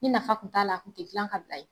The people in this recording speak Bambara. Ni nafa tun t'a la tun te dilan k'a bila ye.